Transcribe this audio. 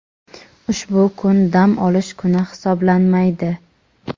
ushbu kun dam olish kuni hisoblanmaydi.